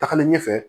Tagalen ɲɛfɛ